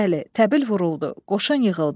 Bəli, təbil vuruldu, qoşun yığıldı.